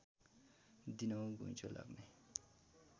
दिनहुँ घुइँचो लाग्ने